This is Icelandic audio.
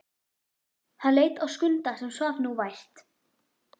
Hann leit á Skunda sem svaf nú vært.